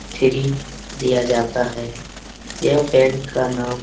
Free दिया जाता है। यह पैंट का नाम --